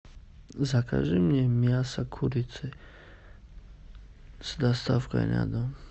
закажи мне мясо курицы с доставкой на дом